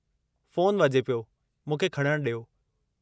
Phone वजे॒ पियो, मूंखे खणणु डि॒यो।